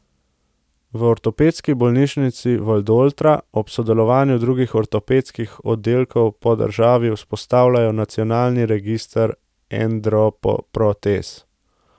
V Ortopedski bolnišnici Valdoltra ob sodelovanju drugih ortopedskih oddelkov po državi vzpostavljajo nacionalni register endoprotez.